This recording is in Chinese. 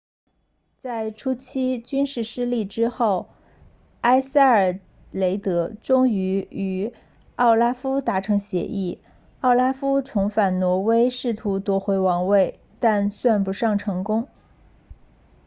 在初期军事失利之后埃塞尔雷德终于与奥拉夫达成协议奥拉夫重返挪威试图夺回王位但算不上成功